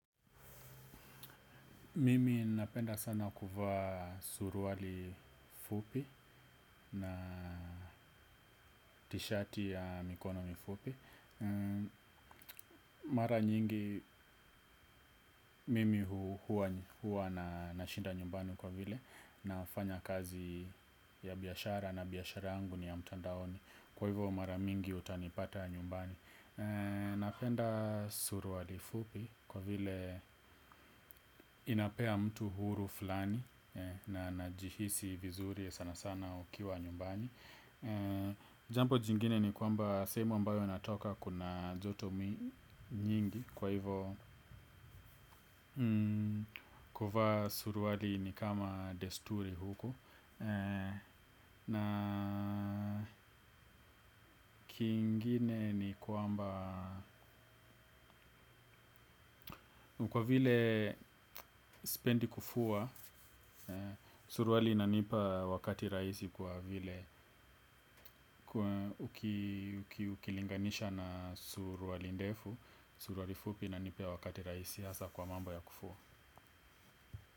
Mimi napenda sana kuvaa suruali fupi na tishati ya mikono mifupi. Mara nyingi mimi huwa na nashinda nyumbani kwa vile nafanya kazi ya biashara na biashara yangu ni ya mtandaoni. Kwa hivyo mara mingi utanipata nyumbani napenda suruali fupikwa vile inapea mtu huru fulani. Na najihisi vizuri sana sana ukiwa nyumbani. Jambo jingine ni kwamba sehemu ambayo natoka kuna joto nyingi. Kwa hivo kuvaa suruali ni kama desturi huku. Na kingine ni kwamba kwa vile sipendi kufua. Suruali inanipa wakati rahisi kwa vile kwa ukilinganisha na suruali ndefu, suruali fupi inanipea wakati rahisi hasa kwa mambo ya kufua.